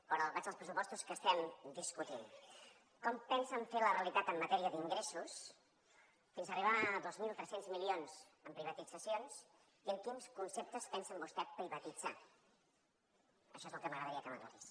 però vaig als pressupostos que estem discutint com pensen fer la realitat en matèria d’ingressos fins arribar a dos mil tres cents milions en privatitzacions i en quins conceptes pensen vostès privatitzar això és el que m’agradaria que m’aclarís